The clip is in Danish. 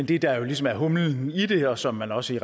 det der jo ligesom er humlen i det og som man også